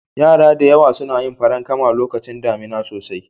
Yara da dama suna yin farankama lokacin damuna sosai.